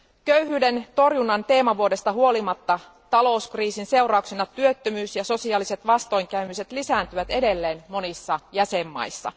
Köyhyyden torjunnan teemavuodesta huolimatta talouskriisin seurauksena työttömyys ja sosiaaliset vastoinkäymiset lisääntyvät edelleen monissa jäsenmaissa.